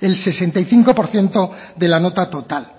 el sesenta y cinco por ciento de la nota total